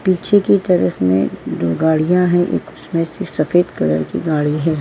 पीछे की तरफ में दो गाड़ियां हैं। एक उसमें से सफेद कलर की गाड़ी है।